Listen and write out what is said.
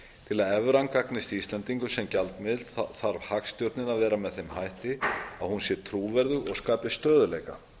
til að evran gagnist íslendingum sem gjaldmiðill þarf hagstjórnin að vera með þeim hætti að hún sé trúverðug og skapi stöðugleika